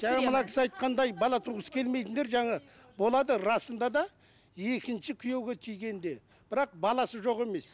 жаңа мына кісі айтқандай бала туғысы келмейтіндер жаңа болады расында да екінші күйеуге тигенде бірақ баласы жоқ емес